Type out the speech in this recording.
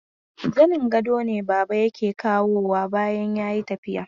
Zanin gado ne baba yake kawowa bayan ya yi tafi.